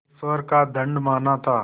ईश्वर का दंड माना था